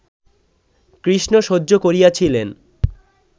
কৃষ্ণ সহ্য করিয়াছিলেন